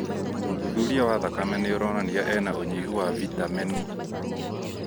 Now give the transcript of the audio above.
ũthuthuria wa thakame nĩũronania ena ũnyihu wa vitameni